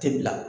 Tɛ bila